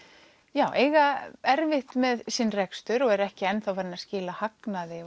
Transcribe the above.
já eiga erfitt með sinn rekstur og eru ekki enn farin að skila hagnaði